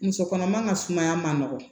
Muso kɔnɔma ka sumaya man nɔgɔn